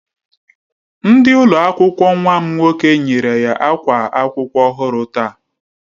Ndi ụlọ akwụkwọ nwam nwoke nyere ya akwa akwụkwọ ọhụrụ taa